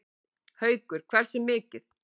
Haukur: Hversu mikið?